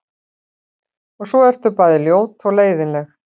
Og svo ertu bæði ljót og leiðinleg.